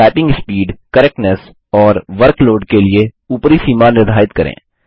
typing speed correctness और workload के लिए ऊपरी सीमा निर्धारित करें